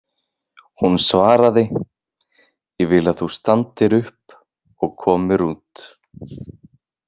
Hún svaraði: Ég vil að þú standir upp og komir út.